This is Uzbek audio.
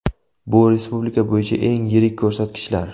Bu respublika bo‘yicha eng yirik ko‘rsatkichlar.